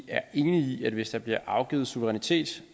er enige i at hvis der bliver afgivet suverænitet